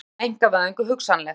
Rannsókn á einkavæðingu hugsanleg